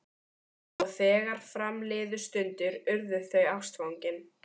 Og þegar fram liðu stundir urðu þau ástfangin.